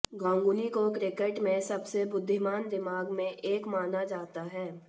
गांगुली को क्रिकेट में सबसे बुद्धिमान दिमाग में एक माना जाता है